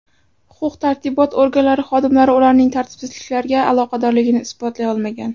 Huquq-tartibot organlari xodimlari ularning tartibsizliklarga aloqadorligini isbotlay olmagan.